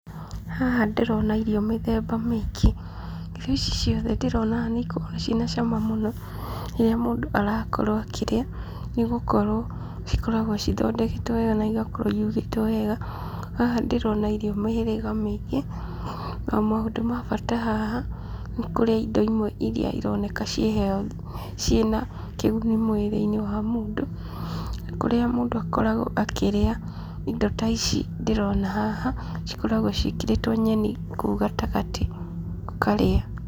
Haha ndĩrona irio mĩthemba mĩingĩ. Irio ici ciothe ndĩrona haha na ikoragwo ciĩ na cama mũno rĩrĩa mũndũ arakorwo akĩrĩa nĩ gũkorwo cikoragwo cithondeketwo wega na igakorwo irugĩtwo wega. Haha ndĩrona irio mĩhĩrĩga mĩingĩ. O maũndũ ma bata haha ni kũrĩa indo imwe iria ironeka ciĩ healthy, ciĩ na kĩguni mwĩrĩ-inĩ wa mũndũ, kũrĩa mũndũ akoragwo akĩrĩa indo ta ici ndĩrona haha cikoragwo ciĩkĩrĩtwo nyeni kũu gatagatĩ ũkarĩa.